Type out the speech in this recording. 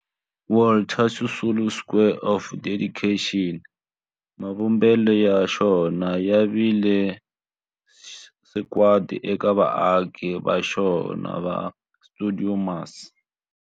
Walter Sisulu Square of Dedication, mavumbelo ya xona ya vile sagwadi eka vaaki va xona va stuidio MAS.